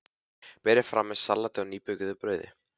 Berið fram með salati og nýbökuðu brauði.